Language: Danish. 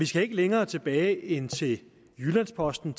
skal længere tilbage end til jyllands posten